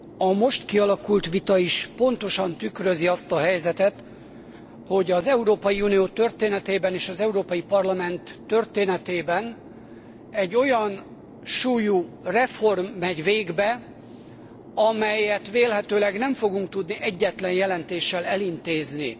A most kialakult vita is pontosan tükrözi azt a helyzetet, hogy az Európai Unió történetében és az Európai Parlament történetében egy olyan súlyú reform megy végbe, amelyet vélhetőleg nem fogunk tudni egyetlen jelentéssel elintézni.